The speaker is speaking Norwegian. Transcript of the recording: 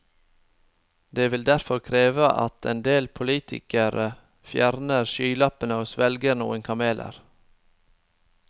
Det vil derfor kreve at en del politikere fjerner skylappene og svelger noen kameler.